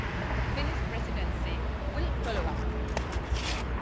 The Finnish Presidency will follow up on this work.